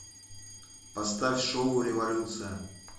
поставь шоу революция